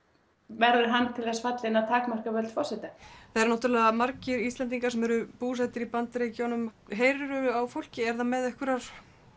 verður hann til þess fallinn að takmarka völd forseta það eru náttúrulega margir Íslendingar sem eru búsettir í Bandaríkjunum heyrirðu af fólki er það með einhverjar